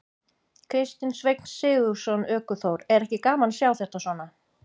Kristinn Sveinn Sigurðsson, ökuþór: Er ekki gaman að sjá þetta svona?